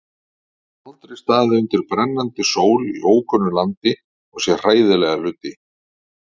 Þau aldrei staðið undir brennandi sól í ókunnu landi og séð hræðilega hluti.